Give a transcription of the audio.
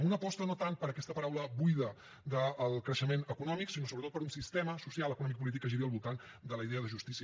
amb una aposta no tant per aquesta paraula buida del creixement econòmic sinó sobretot per un sistema social econòmic i polític que giri al voltant de la idea de justícia